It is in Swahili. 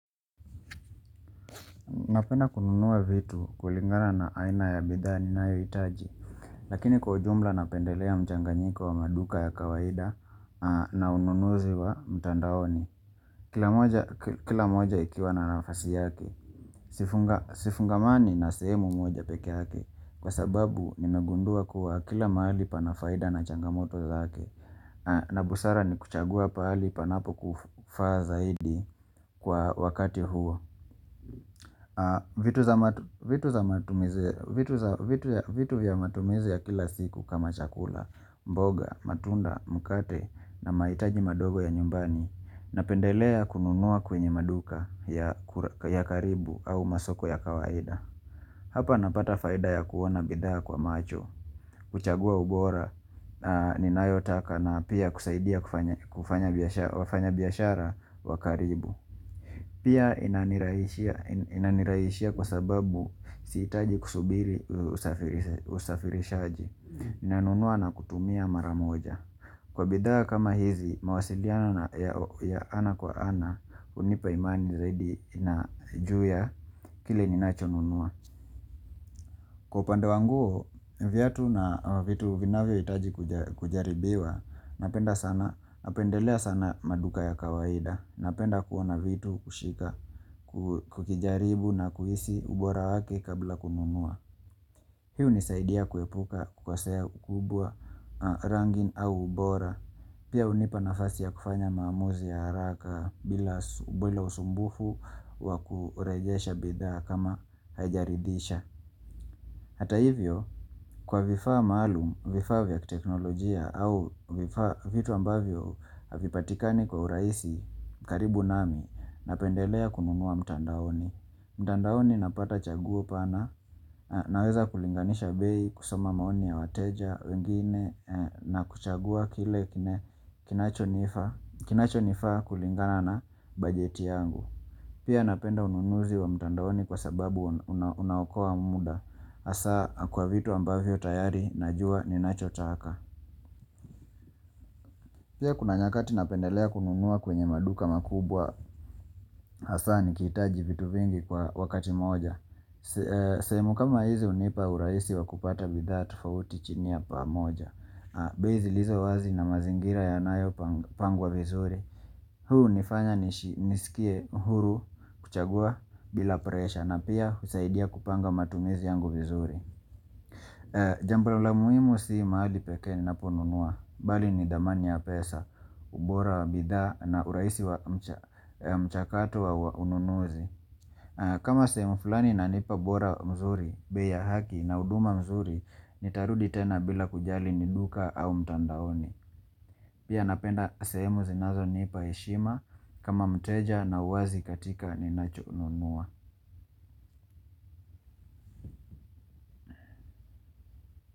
Napenda kununua vitu kulingana na aina ya bidhaa ninayohitaji. Lakini kwa ujumla napendelea mchanganyiko wa maduka ya kawaida na ununuzi wa mtandaoni. Kila moja ikiwa na nafasi yake. Sifungamani na sehemu moja peke yake. Kwa sababu, nimegundua kuwa kila mahali pana faida na changamoto zake. Na busara ni kuchagua pahali panapo kufaa zaidi kwa wakati huo. Vitu vya matumizi ya kila siku kama chakula, mboga, matunda, mkate na mahitaji madogo ya nyumbani Napendelea kununua kwenye maduka ya karibu au masoko ya kawaida Hapa napata faida ya kuona bidhaa kwa macho, kuchagua ubora, ninayotaka napia kusaidia kufanya biashara wa karibu Pia inanirahishia kwa sababu sihitaji kusubiri usafirishaji, nanunua na kutumia maramoja. Kwa bidhaa kama hizi, mawasiliano ya ana kwa ana, hunipa imani zaidi ina juu ya, kile ninacho nunua. Kwa upande wanguo, viatu na vitu vinavyo itaji kujaribiwa, napenda sana, napendelea sana maduka ya kawaida, napenda kuona vitu kushika, kukijaribu na kuhisi ubora wake kabla kununua. Hi hunisaidia kuepuka kukasea ukubwa rangi au ubora, pia hunipa nafasi ya kufanya maamuzi ya haraka bila usumbufu wa kurejesha bidhaa kama haijaridhisha. Hata hivyo, kwa vifaa maalum, vifaa vya kiteknolojia, au vitu ambavyo havipatikani kwa urahisi karibu nami, napendelea kununua mtandaoni. Mtandaoni napata chaguo pana, naweza kulinganisha bei, kusoma maoni ya wateja, wengine, na kuchagua kile kinacho nifaa kulingana na bajeti yangu. Pia napenda ununuzi wa mtandaoni kwa sababu unaokoa muda. hAsa, kwa vitu ambavyo tayari, najua ni nachotaka. Pia kuna nyakati napendelea kununua kwenye maduka makubwa. hAsa, nikihitaji vitu vingi kwa wakati moja. Sehemu kama hizi hunipa uraisi wa kupata bidhaa tofauti chini ya paa moja. Bei zilizo wazi na mazingira yanayo pangwa vizuri. Huu hunifanya nisikie huru kuchagua bila presha na pia husaidia kupanga matumizi yangu vizuri Jambo la lililo la muhimu si mahali pekee ninaponunua Bali ni dhamani ya pesa, ubora wa bidhaa na urahisi wa mchakato wa ununuzi kama seeemu fulani inanipa bora mzuri, bei ya haki na huduma mzuri Nitarudi tena bila kujali ni duka au mtandaoni Pia napenda sehemu zinazoni paeshima kama mteja na uwazi katika ninachonunua.